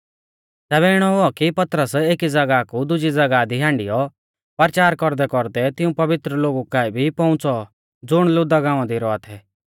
तैबै इणौ हुऔ कि पतरस एकी ज़ागाह कु दुजी ज़ागाह दी हांडियौ परचार कौरदैकौरदै तिऊं पवित्र लोगु काऐ भी पौउंच़ौ ज़ुण लुद्दा गांवा दी रौआ थै